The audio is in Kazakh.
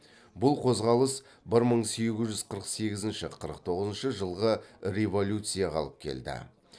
бұл қозғалыс бір мың сегіз жүз қырық сегізінші қырық тоғызыншы жылғы революцияға алып келді